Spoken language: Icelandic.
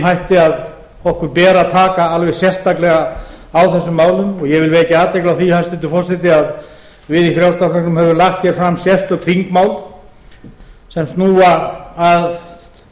hætti að okkur ber að taka alveg sérstaklega á þessum málum og ég vil vekja athygli á því hæstvirtur forseti að við í frjálslynda flokknum höfum lagt hér fram sérstök þingmál sem snúa að